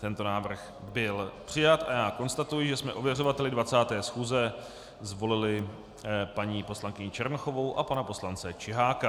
Tento návrh byl přijat a já konstatuji, že jsme ověřovateli 20. schůze zvolili paní poslankyni Černochovou a pana poslance Čiháka.